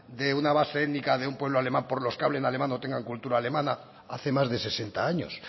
de una base étnica de un pueblo alemán por los que hablen alemán o tengan cultura alemana hace más de sesenta años